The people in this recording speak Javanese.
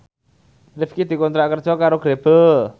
Rifqi dikontrak kerja karo Grebel